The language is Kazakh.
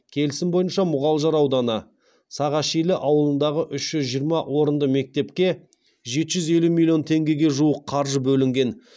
келісім бойынша мұғалжар ауданы сағашилі ауылындағы үш жүз жиырма орынды мектепке жеті жүз елу миллион теңгеге жуық қаржы бөлінген